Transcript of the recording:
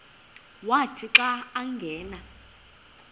wathi xa angena